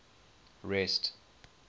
rest